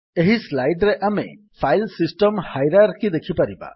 ଏହି ସ୍ଲାଇଡ୍ ରେ ଆମେ ଫାଇଲ୍ ସିଷ୍ଟମ୍ ହାଇରାର୍କି ଦେଖିପାରିବା